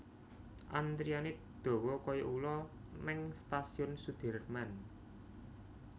Antriane dowo koyo ulo ning Stasiun Sudirman